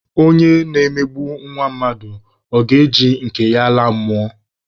Ọnye na-emegbu nwa mmadụ, ọ ga-eji nke ya laa mmụọ?